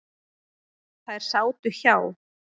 Þær sátu hjá.